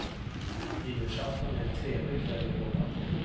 Nyårsafton är en trevlig kväll att jobba på.